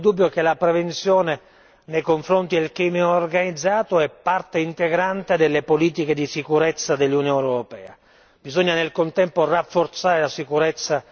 Rui Tavares segnalava alcune obiezioni, ma non v'è dubbio che la prevenzione nei confronti del crimine organizzato è parte integrante delle politiche di sicurezza dell'Unione europea.